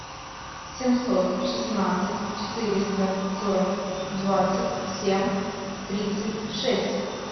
семьсот шестнадцать четыреста сорок двадцать семь тридцать шесть